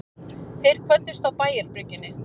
Þeir kvöddust á bæjarbryggjunni.